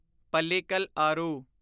Pallikal ਆਰੂ